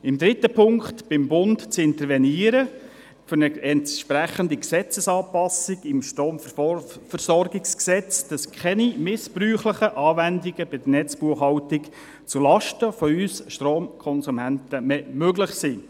Im dritten Punkt verlangen wir, beim Bund für eine entsprechende Gesetzesanpassung des Bundesgesetzes über die Stromversorgung (Stromversorgungsgesetz, StromVG) zu intervenieren, damit bei der Netzbuchhaltung keine missbräuchlichen Anwendungen zulasten von uns Stromkonsumenten mehr möglich sind.